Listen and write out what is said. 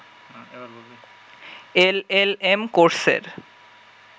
LLM কোর্সের